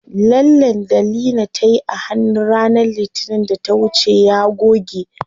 Lallen da Leena tayi a hannu ranar litinin da ta wuce ya goge.